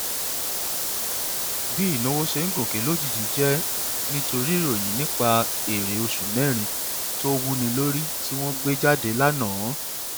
bí ìnáwó ṣe ń gòkè lójijì jẹ nítorí ìròyìn nípa èrè oṣù mẹrin tó wúni lórí tí wọn gbé jáde lánàá